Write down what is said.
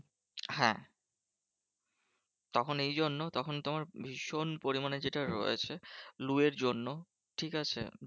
হ্যাঁ তখন এই জন্য তখন তোমার ভীষণ পরিমানে যেটা রয়েছে লু এর জন্য, ঠিকাছে?